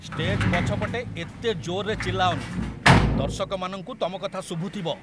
Stage ପଛପଟେ ଏତେ ଜୋର୍‌ରେ ଚିଲ୍ଲାଅନି । ଦର୍ଶକମାନଙ୍କୁ ତମ କଥା ଶୁଭୁଥିବ ।